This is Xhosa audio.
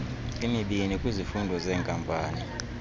emibini kwizifundo zeenkampani